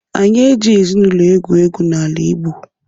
Anyị ejighị ezinaụlọ egwu egwu n'ala igbo